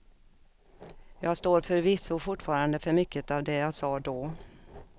Jag står förvisso fortfarande för mycket av det jag sa då.